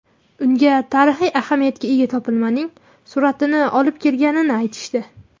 Unga tarixiy ahamiyatga ega topilmaning suratini olib kelganini aytishdi.